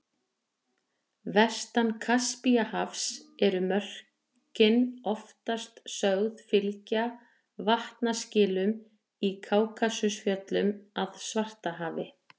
Vestan Kaspíahafs eru mörkin oftast sögð fylgja vatnaskilum í Kákasusfjöllum að Svartahafi.